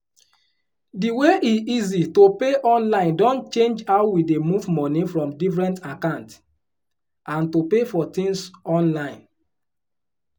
di way e easy to pay online don change how we dey move money from different account and to pay for tins online.